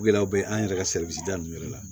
Gɛlɛyaw bɛ an yɛrɛ ka ninnu yɛrɛ la